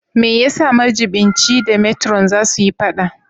Me yasa majiɓinci da metro za su yi fada?